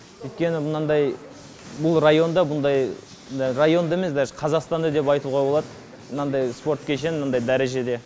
өйткені мынадай бұл районда бұндай районда емес даже қазақстанда деп айтуға болады мынандай спорт кешені мынандай дәрежеде